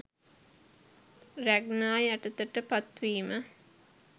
රැග්නා යටතට පත් වීම.